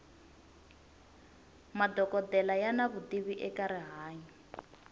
madokodela yana vutivi eka rihanyo